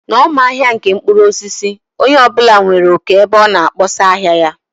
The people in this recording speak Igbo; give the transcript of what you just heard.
N' ọma ahia ndị mkpụrụ osisi, onye ọ bụla nwere oké ebe ọ na kpọsaa ahịa ya